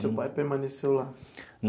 Seu pai permaneceu lá?